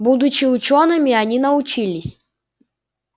будучи учёными они научились